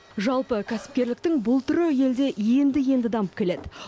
жалпы кәсіпкерліктің бұл түрі елде енді енді дамып келеді